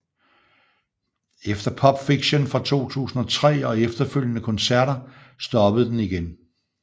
Efter Popfiction fra 2003 og efterfølgende koncerter stoppede den igen